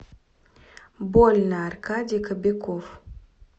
больно аркадий кобяков